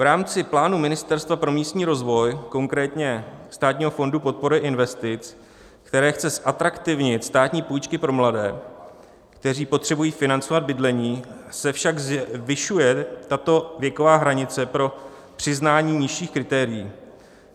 V rámci plánu Ministerstva pro místní rozvoj, konkrétně Státního fondu podpory investic, které chce zatraktivnit státní půjčky pro mladé, kteří potřebují financovat bydlení, se však zvyšuje tato věková hranice pro přiznání nižších kritérií.